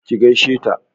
ki gaishe ta!